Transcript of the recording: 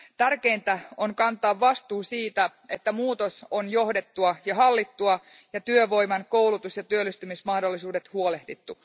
Tärkeintä on kantaa vastuu siitä, että muutos on johdettua ja hallittua ja työvoiman koulutus ja työllistymismahdollisuuksista huolehdittu.